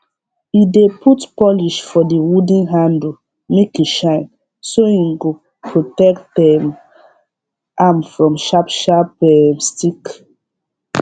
e dey put polish for the wooden handle make e shine so hin go protect um am from sharp sharp um stick